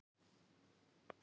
Sérðu þessa veiðimenn?